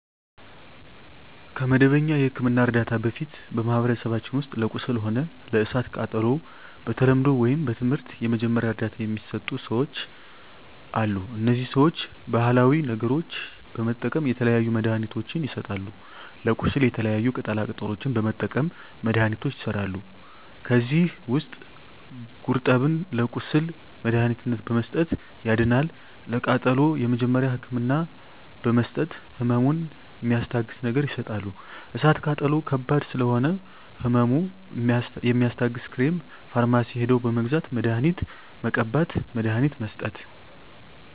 ከመደበኛ የሕክምና ዕርዳታ በፊት በማኀበረሰባችን ውስጥ ለቁስል ሆነ ለእሳት ቃጠሎው በተለምዶው ወይም በትምህርት የመጀመሪያ እርዳታ ሚሰጡ ሰዎች አሉ እነዚህ ሰዎች ባሀላዊ ነገሮች በመጠቀም የተለያዩ መድሀኒትችን ይሰጣሉ ለቁስል የተለያዩ ቅጠላ ቅጠሎችን በመጠቀም መድሀኒቶች ይሠራሉ ከዚህ ውስጥ ጉርጠብን ለቁስል መድሀኒትነት በመስጠት ያድናል ለቃጠሎ የመጀመሪያ ህክምና በመስጠት ህመሙን ሚስታግስ ነገር ይሰጣሉ እሳት ቃጠሎ ከባድ ስለሆነ ህመሙ የሚያስታግስ ክሬም ፈርማሲ ሄደው በመግዛት መድሀኒት መቀባት መድሀኒት መስጠት